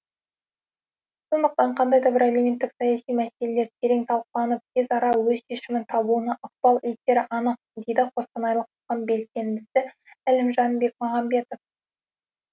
сондықтан қандай да бір әлеуметтік саяси мәселелер терең талқыланып тез ара өз шешімін табуына ықпал етері анық дейді қостанайлық қоғам белсендісі әлімжан бекмағамбаетов